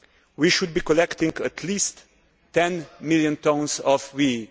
we should be collecting at least 10 million tonnes of WEEE.